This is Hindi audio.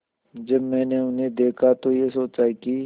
जब मैंने उन्हें देखा तो ये सोचा कि